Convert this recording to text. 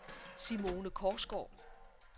Simone Korsgaard